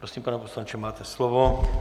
Prosím, pane poslanče, máte slovo.